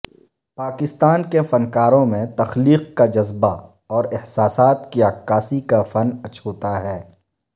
پاکستان کے فنکاروں میں تخلیق کا جذبہ اور احساسات کی عکاسی کا فن اچھوتا ہے